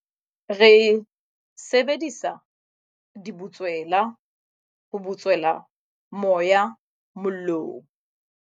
Re sebedisa dibutswela ho butswela moya mollong.